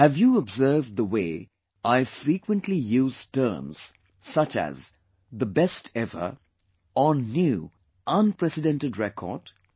Have you observed the way I have frequently used terms such as 'the best ever' or 'new, unprecedented record'